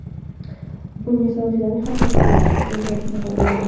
Bunga sababchilarning xatti-harakatlariga tergov baho beradi .